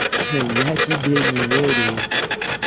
я тебе не верю